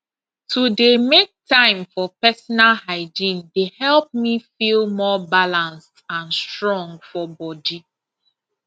to dey make time for personal hygiene dey help me feel more balanced and strong for body